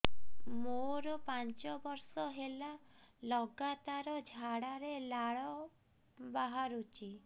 ମୋରୋ ପାଞ୍ଚ ବର୍ଷ ହେଲା ଲଗାତାର ଝାଡ଼ାରେ ଲାଳ ବାହାରୁଚି